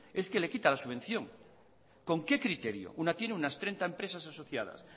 es que le quita la subvención con qué criterio una tiene unas treinta empresas asociadas